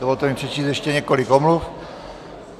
Dovolte mi přečíst ještě několik omluv.